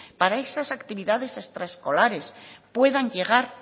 para que esas actividades extraescolares puedan llegar